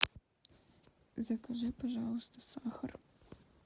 закажи пожалуйста сахар